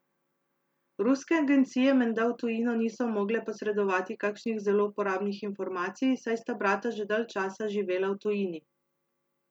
Ruske agencije menda v tujino niso mogle posredovati kakšnih zelo uporabnih informacij, saj sta brata že dalj časa živela v tujini.